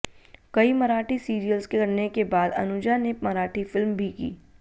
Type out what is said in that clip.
कई मराठी सीरियल्स करने के बाद अनुजा ने मराठी फिल्म भी की